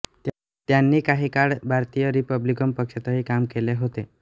त्यांनी काही काळ भारतीय रिपब्लिकन पक्षातही काम केले होते